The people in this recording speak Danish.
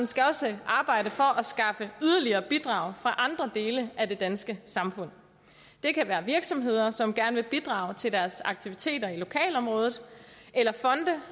skal også arbejde for at skaffe yderligere bidrag fra andre dele af det danske samfund det kan være virksomheder som gerne vil bidrage til deres aktiviteter i lokalområdet eller fonde